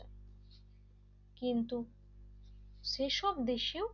কিন্তু সেসব দেশেও